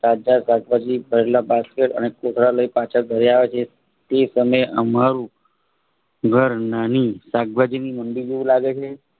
શકભાજ શાકભાજી ભરેલા બાસ્કેટ અને કોથળા લઇ પાછા ઘરે આવ્યા તે તે સમયે અમારું ઘર નાની શાકભાજી મંડી જેવું લાગે છે.